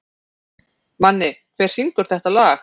Manni, hver syngur þetta lag?